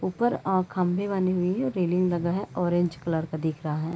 ऊपर अ खंभे बनी हुई है रैलिंग लगा है ऑरेंज कलर का दिख रहा हैं।